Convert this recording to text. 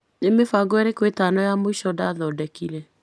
Nĩ mĩbango ĩrĩko ĩtano ya mũico ndathondekire.